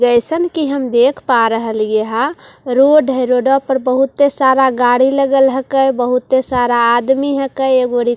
जैसन कि हम देख पा रहिल हा रोड है रोडवा पर बहुत सारा गाडी लगहि कै बहुत सारा आदमी ह कै वो रिक्षा ह कै रिक--